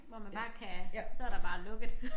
Hvor man bare kan så der bare lukket